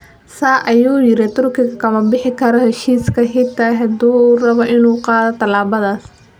Saa, ayuu yiri, Turkiga ma ka bixi karo heshiiska xitaa haddii uu rabo inuu qaado tallaabadaas.